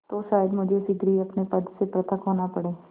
तो शायद मुझे शीघ्र ही अपने पद से पृथक होना पड़े